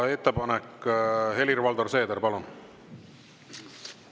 Ettepanek, Helir-Valdor Seeder, palun!